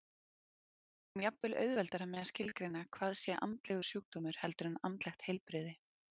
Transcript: Við eigum jafnvel auðveldara með að skilgreina hvað sé andlegur sjúkdómur heldur en andlegt heilbrigði.